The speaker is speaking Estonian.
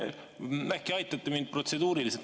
Jah, äkki aitate mind natukene protseduuriliselt.